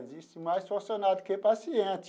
Existe mais funcionário do que paciente.